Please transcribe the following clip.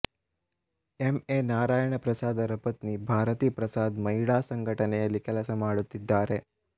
M A Narayana ಪ್ರಸಾದರ ಪತ್ನಿ ಭಾರತಿ ಪ್ರಸಾದ್ ಮಹಿಳಾ ಸಂಘಟನೆಯಲ್ಲಿ ಕೆಲಸಮಾಡುತ್ತಿದ್ದಾರೆ